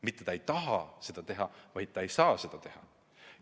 Mitte et nad ei taha seda teha, vaid nad ei saa seda teha.